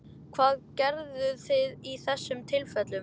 Hvað gerðuð þið í þessum tilfellum?